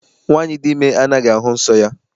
Nwaanyị dị ime anaghị ahụ nsọ ya.